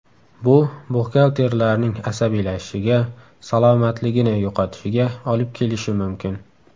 Bu buxgalterlarning asabiylashishiga, salomatligini yo‘qotishiga olib kelishi mumkin.